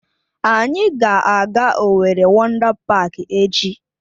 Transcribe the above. Anyị ga-aga Owerri Wọndá Páák echi